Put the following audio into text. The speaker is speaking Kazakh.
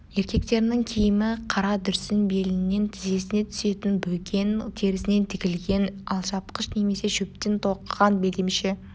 еркектерінің киімі қара дүрсін белінен тізесіне түсетін бөкен терісінен тігілген алжапқыш немесе шөптен тоқыған белдемше